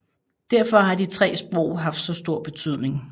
Derfor har de tre sprog haft så stor betydning